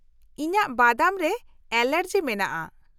ᱤᱧᱟᱜ ᱵᱟᱫᱟᱢ ᱨᱮ ᱮᱞᱟᱨᱡᱤ ᱢᱮᱱᱟᱜᱼᱟ ᱾